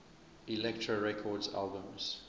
elektra records albums